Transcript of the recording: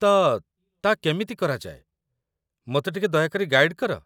ତ, ତା' କେମିତି କରାଯାଏ, ମୋତେ ଟିକେ ଦୟାକରି ଗାଇଡ଼୍ କର।